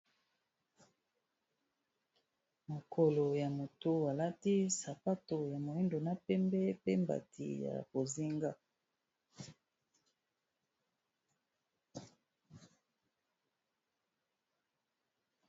makolo ya moto elati sapato ya moindo na pembe pe mbati ya bozinga